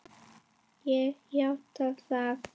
Ég játa það.